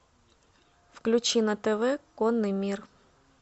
включи на тв конный мир